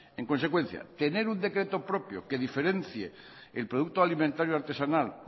en consecuencia tener un decreto propio que diferencia el producto alimentario artesanal